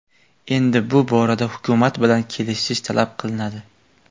Endi bu borada hukumat bilan kelishish talab qilinadi.